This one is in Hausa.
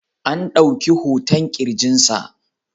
An dauki hoton kirjinsa.